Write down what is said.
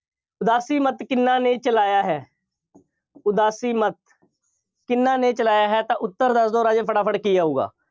ਉਦਾਸੀ ਮੱਤ ਕਿੰਨਾ ਨੇ ਚਲਾਇਆ ਹੈ। ਉਦਾਸੀ ਮੱਤ ਕਿੰਨਾ ਨੇ ਚਲਾਇਆ ਹੈ ਤਾਂ ਉੱਤਰ ਦੱਸ ਦਿਓ ਰਾਜੇ ਫਟਾਫਟ ਕੀ ਆਊਗਾ।